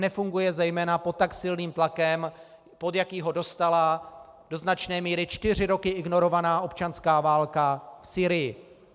Nefunguje zejména pod tak silným tlakem, pod jaký ho dostala do značné míry čtyři roky ignorovaná občanská válka v Sýrii.